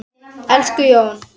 Elsku Jón.